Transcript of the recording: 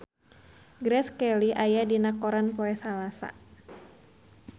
Grace Kelly aya dina koran poe Salasa